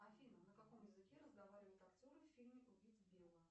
афина на каком языке разговаривают актеры в фильме убить билла